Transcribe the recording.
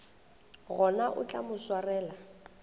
gona o tla mo swarela